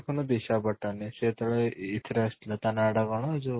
ଦେଖୁନୁ ଦିଶା ପଟାନି ସେ ଯେତେ ବେଳେ ଇଥେରେ ଆସିଥିଲା ତା ନାଁ ଟା କ'ଣ ଯୋଉ